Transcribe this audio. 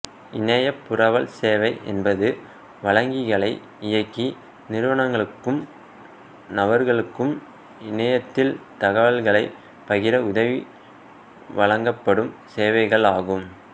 இணையப் புரவல் சேவை என்பது வழங்கிகளை இயக்கி நிறுவனங்களுக்கும் நபர்களுக்கும் இணையத்தில் தகவல்களைப் பகிர உதவி வழங்கப்படும் சேவைகள் ஆகும்